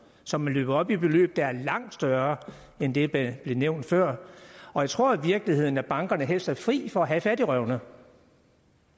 som er løbet op i beløb der er langt større end det der blev nævnt før jeg tror i virkeligheden at bankerne helst er fri for at have fattigrøvene